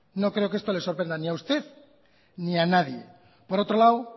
no creo que esto le sorprenda ni a usted ni a nadie por otro lado